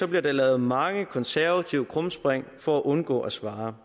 bliver der lavet mange konservative krumspring for at undgå at svare